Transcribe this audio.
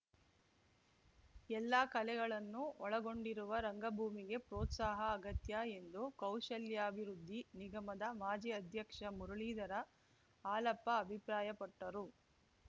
ಎಲ್ಲಾ ಕಲೆಗಳನ್ನು ಒಳಗೊಂಡಿರುವ ರಂಗಭೂಮಿಗೆ ಪ್ರೋತ್ಸಾಹ ಅಗತ್ಯ ಎಂದು ಕೌಶಲ್ಯಾಭಿವೃದ್ಧಿ ನಿಗಮದ ಮಾಜಿ ಅಧ್ಯಕ್ಷ ಮುರಳೀಧರ ಹಾಲಪ್ಪ ಅಭಿಪ್ರಾಯಪಟ್ಟರು